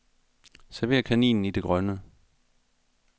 Server kaninen i det grønne.